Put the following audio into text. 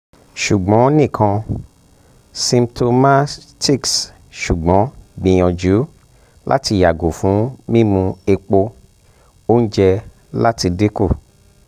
ṣugbọn nikan symptomaticṣugbọn gbiyanju um lati yago fun mimu epo um ounje um lati dinku